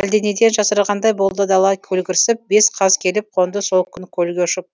әлденеден жасырғандай болды дала көлгірсіп бес қаз келіп қонды сол күн көлге ұшып